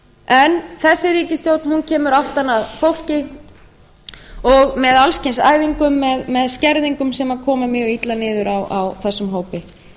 en þessi ríkisstjórn kemur aftan að fólki og með alls kyns æfingum með skerðingum sem koma mjög illa niður á þessum hópi